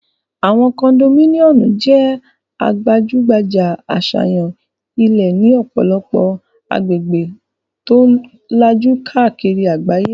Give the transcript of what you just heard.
Àwọn kondomíníọ̀mù jẹ́ gbajúgbajà àṣàyàn ilé ní ọ̀pọ̀lọpọ̀ agbègbè tó lajú káàkiri àgbáyé